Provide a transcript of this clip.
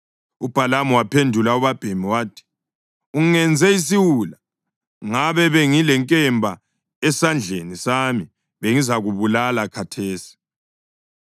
UBhalamu waphendula ubabhemi wathi, “Ungenze isiwula! Ngabe bengilenkemba esandleni sami bengizakubulala khathesi.”